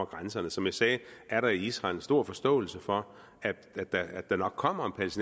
grænserne som jeg sagde er der i israel en stor forståelse for at der nok kommer